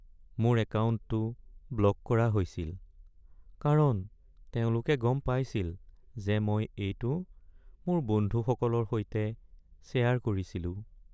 মোৰ একাউণ্টটো ব্লক কৰা হৈছিল কাৰণ তেওঁলোকে গম পাইছিল যে মই এইটো মোৰ বন্ধুসকলৰ সৈতে শ্বেয়াৰ কৰিছিলোঁ।